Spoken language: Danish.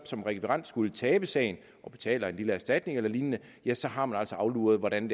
som rekvirent skulle tabe sagen og betaler en lille erstatning eller lignende ja så har man altså afluret hvordan